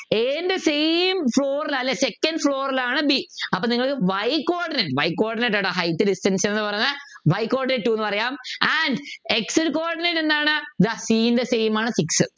a ൻ്റെ same Second floor ലാണ് b അപ്പൊ നിങ്ങക്ക് Y coordinate Y coordinate എടാ Height Distance ന്നു പറഞ്ഞെ Y coordinate ന്നു പറയാം and x coordinate എന്താണ് ഇതാ c ൻ്റെ same ആണ് six